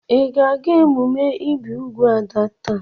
Ị ga-aga emume ibi úgwù Ada taa?